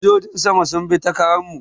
Sojojin sama sun bi ta Karan mu